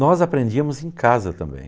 Nós aprendíamos em casa também.